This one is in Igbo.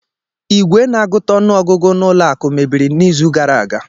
Igwe na-agụta ọnụ ọgụgụ na ụlọ akụ mebiri n'izu gara aga